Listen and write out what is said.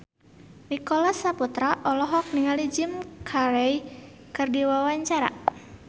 Nicholas Saputra olohok ningali Jim Carey keur diwawancara